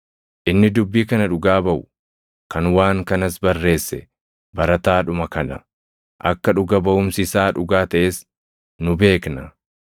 Inni dubbii kana dhugaa baʼu, kan waan kanas barreesse barataadhuma kana. Akka dhuga baʼumsi isaa dhugaa taʼes nu beekna.